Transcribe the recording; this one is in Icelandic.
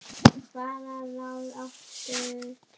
Það er ekki til viðmið.